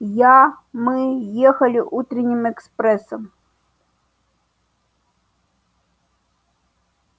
я мы ехали утренним экспрессом